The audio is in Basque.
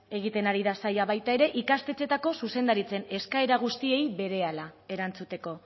egiten ari da saila baita er ikastetxeetako zuzendaritzen eskaera guztiei berehala erantzuteko